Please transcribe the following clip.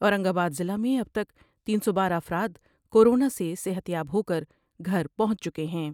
اورنگ آباد ضلع میں اب تک تین سو بارہ افرادکورونا سے صحت یاب ہو کر گھر پہنچ چکے ہیں ۔